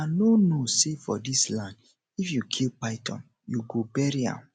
una no know say for dis land if you kill python you go bury am